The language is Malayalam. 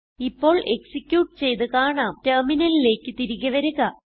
ഇപ്പോൾ എക്സിക്യൂട്ട് ചെയ്ത് കാണാം ടെർമിനലിലേക്ക് തിരികെ വരിക